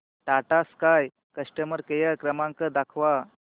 Tata Sky customer care क्रमांक दाखवा